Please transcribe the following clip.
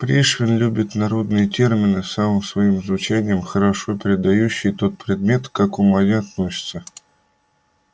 пришвин любит народные термины самым своим звучанием хорошо передающие тот предмет к какому они относятся